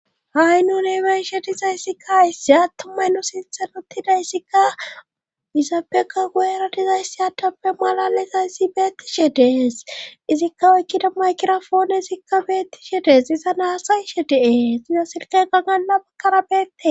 ha'i nuni be'ishe dizayssi ka hayssi attumay no sinthan ottida issikka izaapbeka guero dizayssi adappe malalisayssi beettishe dees izikka oykkida makirofoone isikka beettishe dees iza naasayshe deee siza silka gangala bakkara beette